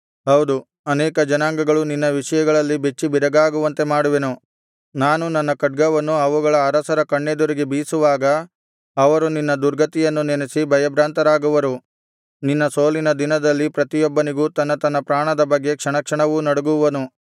ಹೌದು ಅನೇಕ ಜನಾಂಗಗಳು ನಿನ್ನ ವಿಷಯದಲ್ಲಿ ಬೆಚ್ಚಿಬೆರಗಾಗುವಂತೆ ಮಾಡುವೆನು ನಾನು ನನ್ನ ಖಡ್ಗವನ್ನು ಅವುಗಳ ಅರಸರ ಕಣ್ಣೆದುರಿಗೆ ಬೀಸುವಾಗ ಅವರು ನಿನ್ನ ದುರ್ಗತಿಯನ್ನು ನೆನಸಿ ಭಯಭ್ರಾಂತರಾಗುವರು ನಿನ್ನ ಸೋಲಿನ ದಿನದಲ್ಲಿ ಪ್ರತಿಯೊಬ್ಬನೂ ತನ್ನ ತನ್ನ ಪ್ರಾಣದ ಬಗ್ಗೆ ಕ್ಷಣಕ್ಷಣವೂ ನಡುಗುವನು